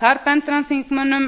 þar bendir hann þingmönnum